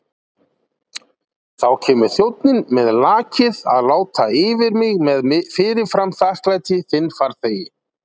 Þá kemur þjónninn með lakið að láta yfir mig með fyrirfram þakklæti þinn farþegi.